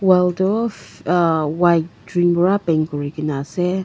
wall tu a white green para paint kori kina ase.